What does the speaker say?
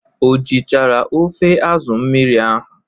O jichara ofe asụ mmiri ahụ?